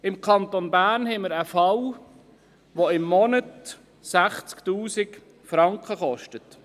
Im Kanton Bern haben wir einen Fall, der im Monat 60 000 Franken kostet.